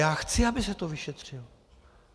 Já chci, aby se to vyšetřilo.